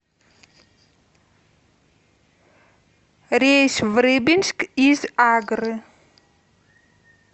рейс в рыбинск из агры